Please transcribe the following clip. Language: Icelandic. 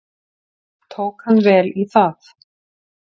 Tók hann vel í það.